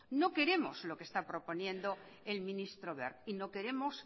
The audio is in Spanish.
no queremos lo que está proponiendo el ministro wert y no queremos